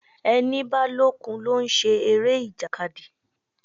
Ẹni bá lókun ló ń ṣe eré ìjàkadì.